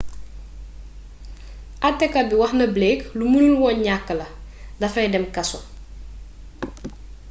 atekat bi wax na blake lu mënul woon ñakk la dafay dem kaso